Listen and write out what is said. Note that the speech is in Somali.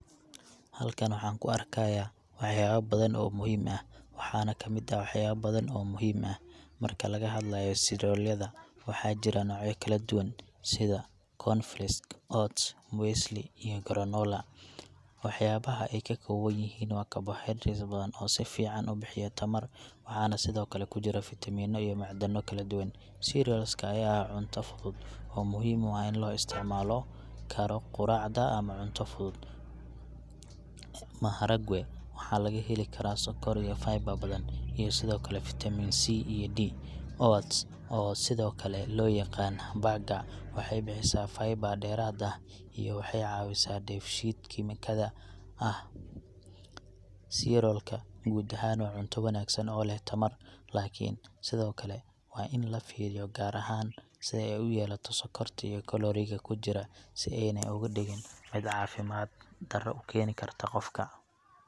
Halkan waxaan ku arkayaa waxyaabo badan oo muhiim ah ,waxaana kamid ah waxyaaba badan oo muhiim ah. Marka laga hadlayo cereal yada, waxaa jira noocyo kala duwan sida cornflakes, oats, muesli, iyo granola. Waxyaabaha ay ka kooban yihiin waa carbohydrates badan oo si fiican u bixiya tamar, waxaana sidoo kale ku jira fiitamiino iyo macdano kala duwan. Cereals ka ayaa ah cunto fudud oo muhiim ah in loo isticmaali karo quraacda ama cunto fudud. Maharagwe waxaa laga helaa sonkor iyo fiber badan, iyo sidoo kale vitamin C iyo D. Oats, oo sidoo kale loo yaqaan bagger, waxay bixisaa fiber dheeraad ah iyo waxay caawisaa dheef-shiid kiimikaadka ah . Cereals ka guud ahaan waa cunto wanaagsan oo leh tamar, laakiin sidoo kale waa in la fiiriyo gaar ahaan si ay u yeelato sonkorta iyo kalooriga ku jira si aanay uga dhigin mid caafimaad daro u keeni karta qofka .